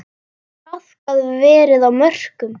Traðkað verið á mörkum.